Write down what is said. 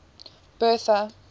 bertha